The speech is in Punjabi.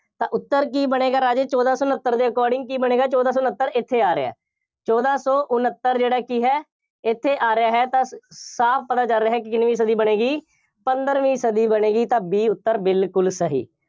ਤਾਂ ਉੱਤਰ ਕੀ ਬਣੇਗਾ, ਰਾਜੇ, ਚੋਦਾਂ ਸੌ ਉਨੱਤਰ ਦੇ according ਕੀ ਬਣੇਗਾ, ਚੋਦਾਂ ਸੌ ਉਨੱਤਰ, ਇੱਥੇ ਆ ਰਿਹਾ ਹੈ। ਚੋਦਾਂ ਸੌ ਉਨੱਤਰ ਜਿਹੜਾ ਕੀ ਹੈ, ਇੱਥੇ ਆ ਰਿਹਾ ਹੈ, ਤਾਂ ਸਾਫ ਪੜ੍ਹਿਆ ਜਾ ਰਿਹਾ ਹੈ ਕਿ ਕਿੰਨਵੀਂ ਸਦੀ ਬਣੇਗੀ, ਪੰਦਰਵੀਂ ਸਦੀ ਬਣੇਗੀ ਤਾਂ B ਉੱਤਰ ਬਿਲਕੁੱਲ ਸਹੀ।